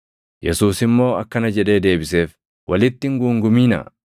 Yesuus immoo akkana jedhee deebiseef; “Walitti hin guunguminaa.